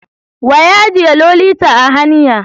Wa ya ajiye Lolita a hanya?